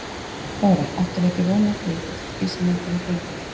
Þóra: Áttirðu ekki von á því út frá því sem á undan var gengið?